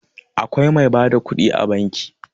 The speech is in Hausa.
Akwai mai ba da kuɗi a banki.